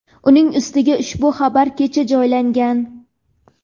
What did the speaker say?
Uning ustiga, ushbu xabar kecha joylangan.